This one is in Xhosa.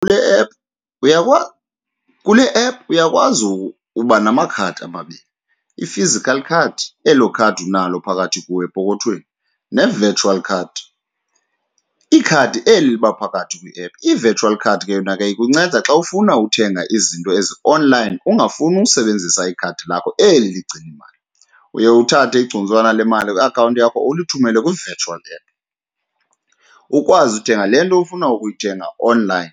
Kule app , kule app uyakwazi uba namakhadi ababini, i-physical card elo khadi unalo phakathi kuwe epokothweni ne-virtual card ikhadi eli liba phakathi kwiephu. I-virtual card ke yona ke ikunceda xa ufuna uthenga izinto ezionlayini ungafuni usebenzisa ikhadi lakho eli ligcine imali. Uye uthathe igcuntswana le mali kwiakhawunti yakho ulithumele kwi-virtual app, ukwazi uthenga le nto ufuna ukuyithenga onlayini.